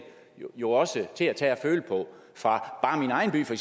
jo også til at tage at føle på fra